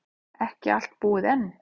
Ekki allt búið enn.